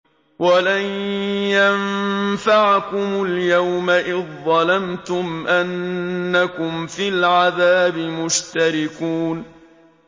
وَلَن يَنفَعَكُمُ الْيَوْمَ إِذ ظَّلَمْتُمْ أَنَّكُمْ فِي الْعَذَابِ مُشْتَرِكُونَ